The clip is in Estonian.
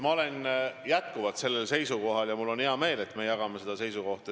Ma olen jätkuvalt samal seisukohal ja mul on hea meel, et me jagame seda seisukohta.